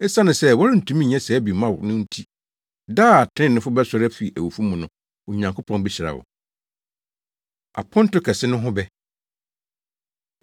Esiane sɛ wɔrentumi nyɛ saa bi mma wo no nti, da a atreneefo bɛsɔre afi awufo mu no, Onyankopɔn behyira wo.” Aponto Kɛse No Ho Bɛ